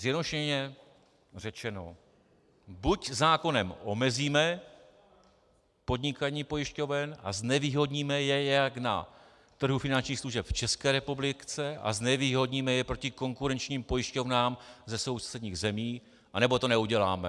Zjednodušeně řečeno, buď zákonem omezíme podnikání pojišťoven a znevýhodníme je jak na trhu finančních služeb v České republice a znevýhodníme je proti konkurenčním pojišťovnám ze sousedních zemí, anebo to neuděláme.